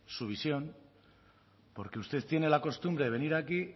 su visión porque usted tiene la costumbre de venir aquí